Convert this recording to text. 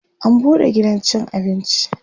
an buɗe gidan cin abinci